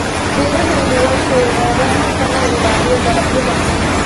Beeraleydu waa inay ogaadaan hababka loo ilaaliyo dalagyada.